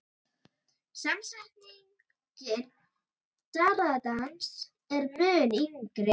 Samsetningin darraðardans er mun yngri.